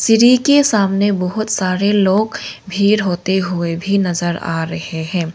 सीरी के सामने बहुत सारे लोग भीड़ होते हुए भी नजर आ रहे हैं।